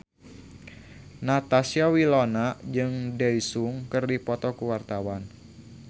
Natasha Wilona jeung Daesung keur dipoto ku wartawan